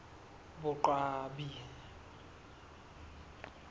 boqwabi